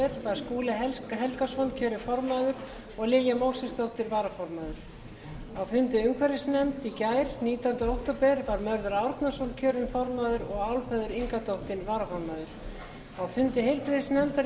var skúli helgason kjörinn formaður og lilja mósesdóttir varaformaður á fundi umhverfisnefndar í gær var mörður árnason kjörinn formaður og álfheiður ingadóttir varaformaður á fundi heilbrigðisnefndar í